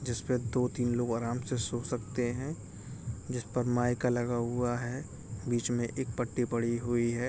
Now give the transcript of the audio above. जिस पे दो तीन लोग आराम से सो सकते हैं। जिस पर माइका लगा हुआ है। बीच में एक पटी पड़ी हुई है।